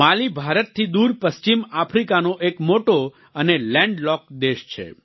માલી ભારતથી દૂર પશ્ચિમ આફ્રિકાનો એક મોટો અને લેન્ડ લોક્ડ દેશ છે